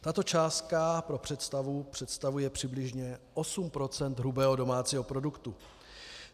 Tato částka pro představu představuje přibližně 8 % hrubého domácího produktu.